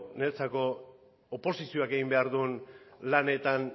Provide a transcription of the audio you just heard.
niretzako oposizioak egin behar duen lanetan